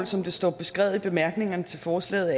som det står beskrevet i bemærkningerne til forslaget